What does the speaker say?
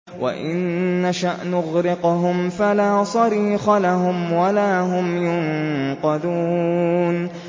وَإِن نَّشَأْ نُغْرِقْهُمْ فَلَا صَرِيخَ لَهُمْ وَلَا هُمْ يُنقَذُونَ